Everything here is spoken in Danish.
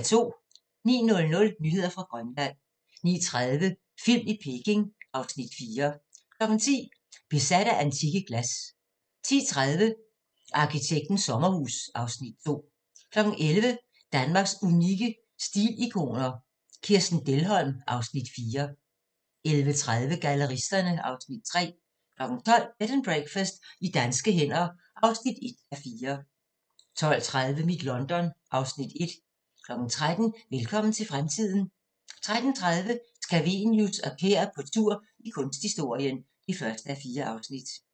09:00: Nyheder fra Grønland 09:30: Film i Peking (Afs. 4) 10:00: Besat af antikke glas 10:30: Arkitektens sommerhus (Afs. 2) 11:00: Danmarks unikke stilikoner – Kirsten Dehlholm (Afs. 4) 11:30: Galleristerne (Afs. 3) 12:00: Bed and Breakfast i danske hænder (1:4) 12:30: Mit London (Afs. 1) 13:00: Velkommen til fremtiden 13:30: Scavenius og Kær på tur i kunsthistorien (1:4)